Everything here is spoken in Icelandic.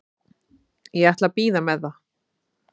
Ég ætla að bíða með það.